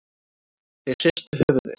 Þeir hristu höfuðið.